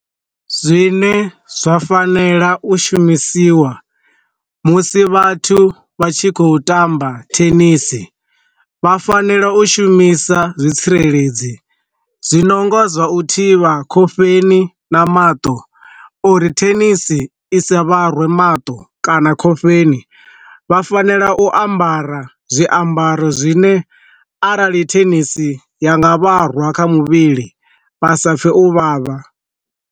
Zwine zwa fanela u shumisiwa musi vhathu vha tshi khou tamba thenisi, vha fanela u shumisa zwitsireledzi zwino ngo zwa u thivha khofheni na maṱo uri thenisi i sa vhare mato kana khofheni, vha fanela u ambara zwiambaro zwine arali thenisi ya nga vharwa kha muvhili vha sa pfhe u vhavha.